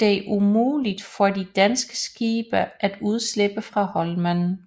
det umuligt for de danske skibe at undslippe fra Holmen